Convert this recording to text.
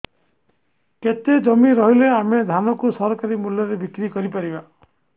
କେତେ ଜମି ରହିଲେ ଆମେ ଧାନ କୁ ସରକାରୀ ମୂଲ୍ଯରେ ବିକ୍ରି କରିପାରିବା